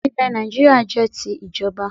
Ilẹ̀ Nàìjíríà jẹ́ ti ìjọba